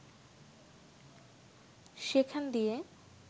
সেখান দিয়ে